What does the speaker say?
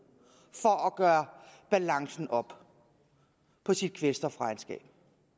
for at gøre balancen op på sit kvælstofregnskab